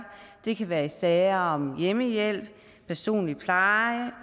det kan være i sager om hjemmehjælp personlig pleje